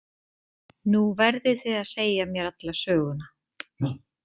Nú verðið þið að segja mér alla söguna